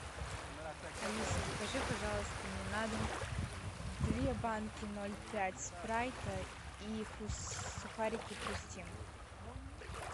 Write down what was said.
алиса закажи пожалуйста мне на дом две банки ноль пять спрайта и сухарики хрустим